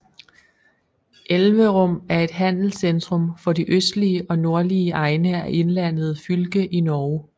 Elverum er et handelscentrum for de østlige og nordlige egne af Innlandet fylke i Norge